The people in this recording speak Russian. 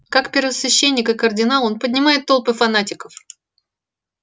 как первосвященник и кардинал он поднимает толпы фанатиков